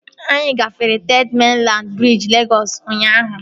Anyị gafere Third Mainland briji Legọs ụnyaahụ